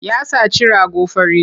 Ya saci rago fari.